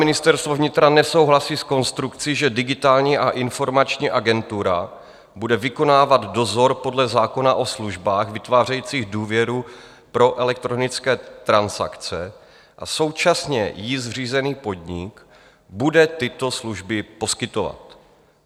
Ministerstvo vnitra nesouhlasí s konstrukcí, že Digitální a informační agentura bude vykonávat dozor podle zákona o službách vytvářející důvěru pro elektronické transakce a současně jí zřízený podnik bude tyto služby poskytovat.